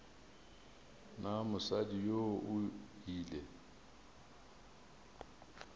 na mosadi yoo o ile